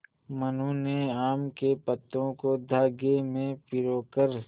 मनु ने आम के पत्तों को धागे में पिरो कर